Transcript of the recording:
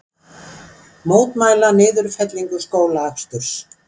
Mótmæla niðurfellingu skólaaksturs